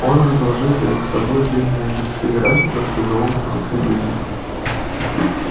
он разложил перед собой длинные листы графиков с изломанными кривыми